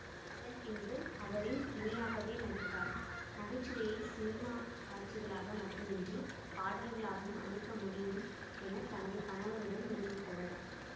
அதன் பின்பு அவரின் இணையாகவே நடித்தார் நகைச்சுவையை சினிமா காட்சிகளாக மட்டுமின்றி பாடல்களாகவும் அமைக்க முடியும் என தனது கணவருடன் நிரூபித்தவர்